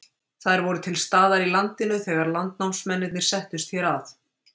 þær voru til staðar í landinu þegar landnámsmennirnir settust hér að